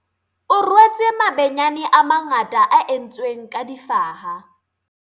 o rwetse mabenyane a mangata a entsweng ka difaha